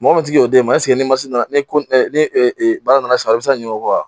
Mɔgɔ min ti ki yɛrɛ d'e ma ni ni e baara nana a be se ka ɲinɛ o kɔ wa ?